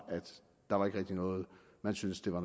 noget man synes det var